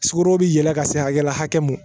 Sukoro bɛ yɛlɛ ka se hakɛya mun ma